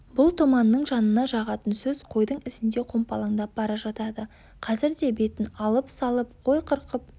бұл томанның жанына жағатын сөз қойдың ізінде қомпалаңдап бара жатады қазір де бетін алып-салып қой қырқып